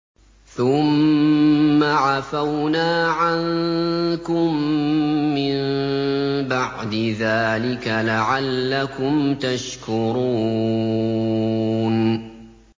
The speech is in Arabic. ثُمَّ عَفَوْنَا عَنكُم مِّن بَعْدِ ذَٰلِكَ لَعَلَّكُمْ تَشْكُرُونَ